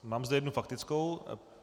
Mám zde jednu faktickou.